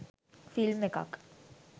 film එකක්